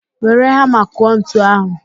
Were hama kụọ ntu ahụ